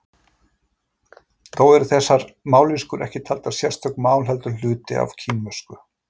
þó eru þessar mállýskur ekki taldar sérstök mál heldur hluti af kínversku